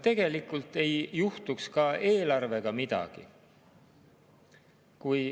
Tegelikult ei juhtuks ka eelarvega midagi ...